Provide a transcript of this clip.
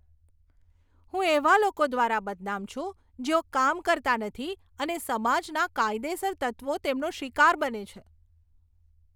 હું એવા લોકો દ્વારા બદનામ છું, જેઓ કામ કરતા નથી અને સમાજના કાયદેસર તત્વો તેમનો શિકાર બને છે.